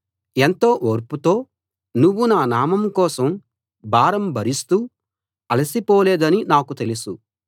ఎంతో ఓర్పుతో నువ్వు నా నామం కోసం భారం భరిస్తూ అలసి పోలేదనీ నాకు తెలుసు